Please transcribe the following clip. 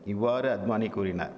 இவ்வாறு அத்மானி கூறினார்